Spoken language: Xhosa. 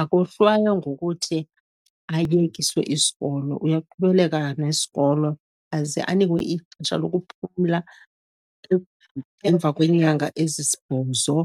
akohlwaywa ngokuthi ayekiswe isikolo. Uyaqhubeleka nesikolo, aze anikwe ixesha lokuphumla emva kweenyanga ezisibhozo, .